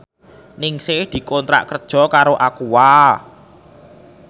Ningsih dikontrak kerja karo Aqua